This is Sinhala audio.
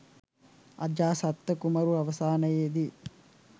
අජාසත්ත කුමරු අවසානයේ දී